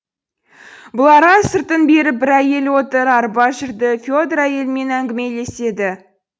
бұларға сыртын беріп бір әйел отыр арба жүрді федор әйелмен әңгімелеседі